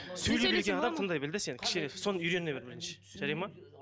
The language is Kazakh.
сөйлей білген адам тыңдай біл де сен кішкене соны үйрене біл бірінші жарайды ма